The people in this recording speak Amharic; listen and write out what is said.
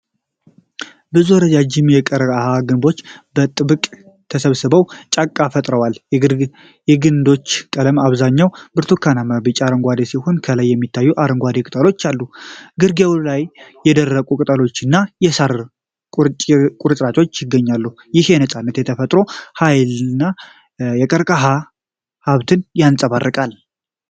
ብዙ ረዣዥም የቀርከሃ ግንዶች በጥብቅ ተሰባስበው ጫካ ፈጥረዋል። የግንዶቹ ቀለም በአብዛኛው ብርቱካናማ-ቢጫና አረንጓዴ ሲሆን፣ ከላይ የሚታዩ አረንጓዴ ቅጠሎች አሉ። ግርጌው ላይ የደረቁ ቅጠሎችና የሳር ቁርጥራጮች ይገኛሉ። ይህ የነፃነት፣ የተፈጥሮ ሃይልና የቀርከሃ ሀብትን ያንፀባርቃል።